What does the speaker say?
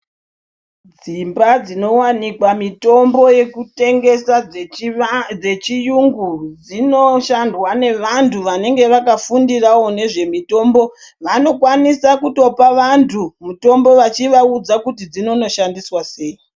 Dzimba dzinowanikwa mitombo yekutengesa dzechiva dzechiyungu dzinoshandwa nevantu vanenge vakafundirawo nezvemitombo vanokwanisa kutopa vantu mutombo vachivaudza kuti dzinonoshandiswa sei .